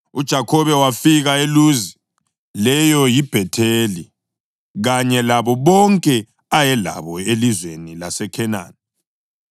UJakhobe wafika eLuzi (leyo yiBhetheli) kanye labo bonke ayelabo elizweni laseKhenani.